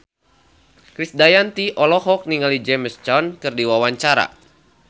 Krisdayanti olohok ningali James Caan keur diwawancara